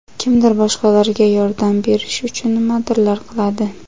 kimdir boshqalarga yordam berish uchun nimadirlar qiladi.